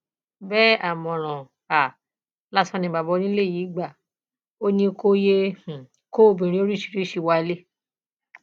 bẹẹ àmọràn um lásán ni bàbá onílé rẹ yìí gbà á ò ní kò yéé um kó obìnrin oríṣiríṣiì wálé